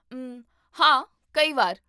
ਉਮ, ਹਾਂ, ਕਈ ਵਾਰ